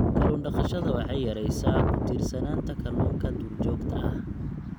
Kallun daqashada waxay yaraysaa ku tiirsanaanta kalluunka duurjoogta ah.